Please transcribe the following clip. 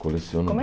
Coleciono Como é